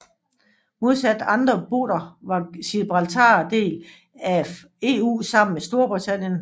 Modsat andre BOTer var Gibraltar del af EU sammen med Storbritannien